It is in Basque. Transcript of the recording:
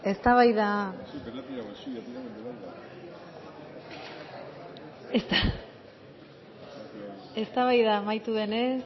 benga oso ondo eztabaida amaitu denez